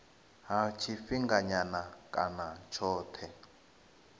ha tshifhinganyana kana ha tshothe